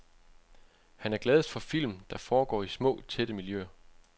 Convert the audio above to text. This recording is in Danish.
Han er gladest for film, der foregår i små, tætte miljøer.